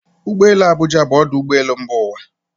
Ụgbọ elu Abụja bụ ọdụ ụgbọ elu mba ụwa